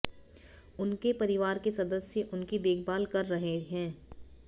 उनके परिवार के सदस्य उनकी देखभाल कर रहे हैं